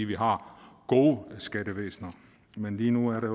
vi har gode skattevæsener men lige nu er der